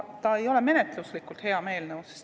See ei ole menetluslikult hea eelnõu.